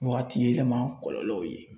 Waati yɛlɛma kɔlɔlɔw ye